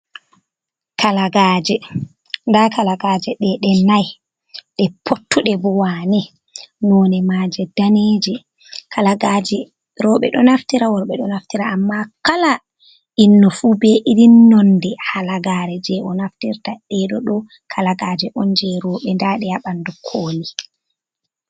Kalagaaje, nda kalagaaje ɗee ɗe nai, ɗee pottuɗe bo waane, none majee daneeje. Kalagaaje roɓe ɗo naftira worɓe ɗo naftira amma kala innu fu be irin nonde halagare je o naftirta nden bo ɗo kalagaaje on je roɓe ndaɗe h ɓandu kooli.